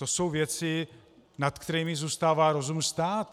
To jsou věci, nad kterými zůstává rozum stát.